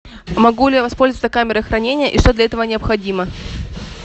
могу ли я воспользоваться камерой хранения и что для этого необходимо